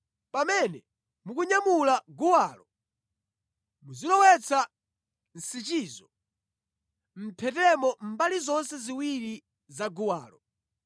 Pamene mukunyamula guwalo, muzilowetsa nsichizo mʼmphetemo mbali zonse ziwiri za guwalo.